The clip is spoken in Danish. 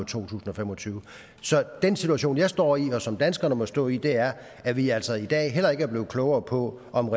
tusind og fem og tyve så den situation jeg står i og som danskerne må stå i er at vi altså i dag heller ikke er blevet klogere på om